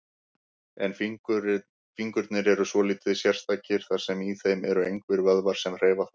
En fingurnir eru svolítið sérstakir, þar sem í þeim eru engir vöðvar sem hreyfa þá.